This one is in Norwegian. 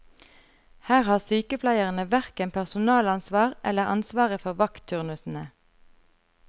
Her har sykepleierne hverken personalansvar eller ansvaret for vaktturnusene.